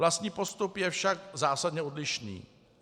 Vlastní postup je však zásadně odlišný.